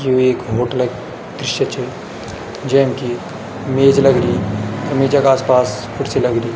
यु ऐक होटलक दृश्य च जैम कि मेज लगीं मेजा का आस पास खुर्सी लगदु।